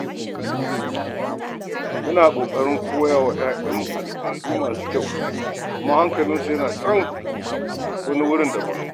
Muna ƙoƙarin koya wa 'ya'yanmu al'adu masu kyau, amma hankalinsu yana can wani wurin daban.